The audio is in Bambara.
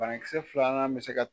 Banakisɛ filanan bɛ se ka